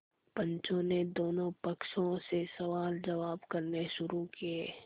पंचों ने दोनों पक्षों से सवालजवाब करने शुरू किये